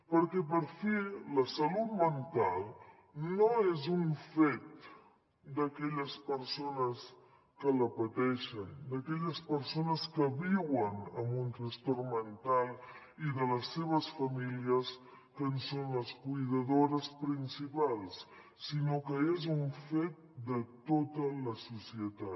perquè per fi la salut mental no és un fet d’aquelles persones que la pateixen d’aquelles persones que viuen amb un trastorn mental i de les seves famílies que en són les cuidadores principals sinó que és un fet de tota la societat